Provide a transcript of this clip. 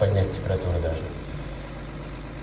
поднять температуру даже